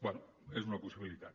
bé és una possibilitat